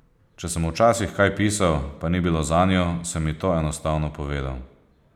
Če sem včasih kaj pisal, pa ni bilo zanjo, sem ji to enostavno povedal.